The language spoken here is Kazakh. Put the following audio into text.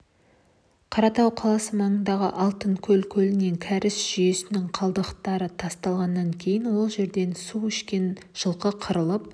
қаратау қаласы маңындағы алтынкөл көліне кәріз жүйесінің қалдықтары тасталғаннан кейін ол жерден су ішкен жылқы қырылып